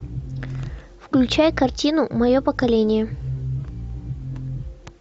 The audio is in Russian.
включай картину мое поколение